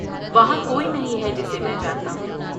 وہاں کوئی نہیں ہے جسے میں جانتا ہوں۔